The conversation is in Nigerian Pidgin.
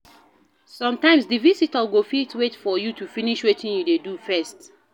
Sometimes di visitor go fit wait for you to finish wetin you dey do first